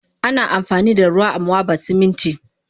Ana amfanida ruwa amwaba Siminti